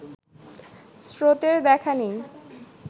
স্রোতের দেখা নেই